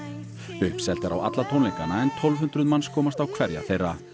uppselt er á alla tónleikana en tólf hundruð manns komast á hverja þeirra